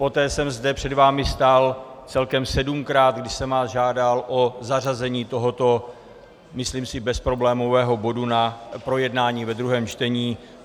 Poté jsem zde před vámi stál celkem sedmkrát, kdy jsem vás žádal o zařazení tohoto, myslím si, bezproblémového bodu na projednání ve druhém čtení.